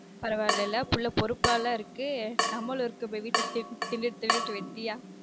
பரவாயில்ல இல்ல பிள்ள பொறுப்பா தானே இருக்கு நம்மால் இருக்கோமே வீட்டில் தின்னுட்டு தின்னுட்டு வெட்டியா